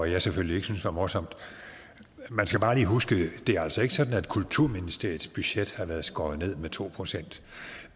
jeg selvfølgelig ikke syntes var morsomt man skal bare lige huske at det altså ikke er sådan at kulturministeriets budget har været skåret ned med to procent